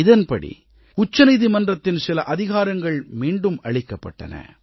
இதன்படி உச்சநீதிமன்றத்தின் சில அதிகாரங்கள் மீண்டும் அளிக்கப்பட்டன